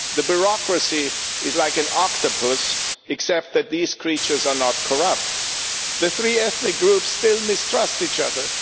The bureaucracy is like an octopus, except that those creatures are not corrupt, and the three ethnic groups still mistrust each other.